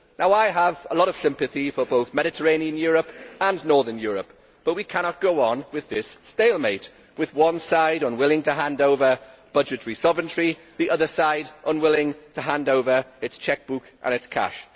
I have a lot of sympathy for both Mediterranean Europe and Northern Europe, but we cannot go on with this stalemate, with one side unwilling to hand over budgetary sovereignty and the other side unwilling to hand over its chequebook and its cash.